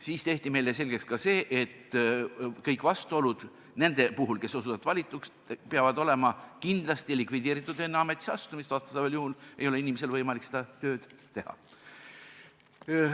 Meile tehti selgeks, et kõik vastuolud nende puhul, kes osutuvad valituks, peavad olema kindlasti likvideeritud enne ametisse astumist, vastasel juhul ei ole inimesel võimalik seda tööd teha.